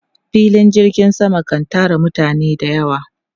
Filin jirgin sama kan tara mutane da yawa.